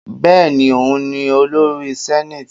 Bẹ́ẹ̀ni, òun ni olórí senate.